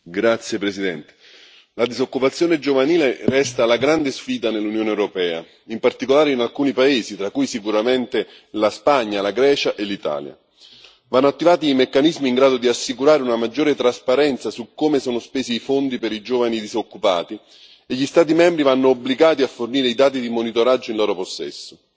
Signora Presidente, onorevoli colleghi, la disoccupazione giovanile resta la grande sfida nell'Unione europea, in particolare in alcuni paesi tra cui sicuramente la Spagna, la Grecia e l'Italia. Vanno attivati meccanismi in grado di assicurare una maggiore trasparenza su come sono spesi i fondi per i giovani disoccupati e gli Stati membri vanno obbligati a fornire i dati di monitoraggio in loro possesso.